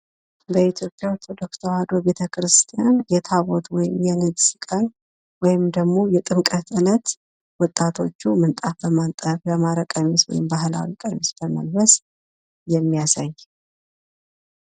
በኢትዮጵያ ኦርቶዶክስ ተዋህዶ ቤተክርስቲያን የታቦት ወይም የንግስ ቀን ወይም ደግሞ የጥምቀት ዕለት ወጣቶቹ ምንጣፍ በማንጠፍ ያማረ ቀሚስ ወይም የባህል ቀሚስ በመልበስ የሚያሳይ